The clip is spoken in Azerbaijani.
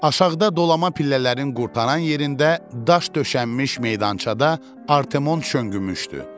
Aşağıda dolama pillələrin qurtaran yerində, daş döşənmiş meydançada Artemon şönğümüşdü.